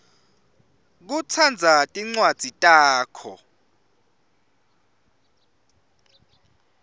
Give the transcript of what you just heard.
kutsandza tincwadzi takho